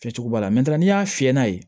Kɛcogo b'a la n'i y'a fiyɛ n'a ye